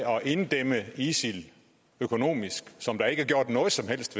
inddæmme isil økonomisk som der ikke er gjort noget som helst